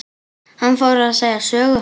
Hann fór að segja sögu.